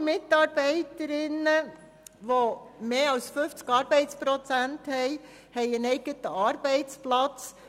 Alle Mitarbeiterinnen und Mitarbeiter, die mehr als 50 Prozent arbeiten, haben einen eigenen Arbeitsplatz.